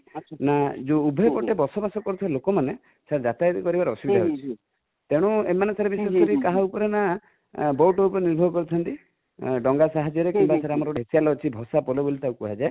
ନା ଯୋଉ ଉଭୟପଟେ ବସବାସ କରୁଥିବା ଲୋକମାନେ sir ଯାତାୟାତ କରିବାରେ ଅସୁବିଧା ହେଉଛି ତେଣୁ ଏମାନେ sir ବିଶେଷକରି କାହା ଉପରେ ନା,boat ଉପରେ ନିର୍ଭର କରିଥାନ୍ତି |ଡ଼ଙ୍ଗା ସାହାଯ୍ୟରେ କିମ୍ବା ଆମର vicinal ଅଛି ଭସାପୋଲ ବୋଲି ତାକୁ କୁହାଯାଏ |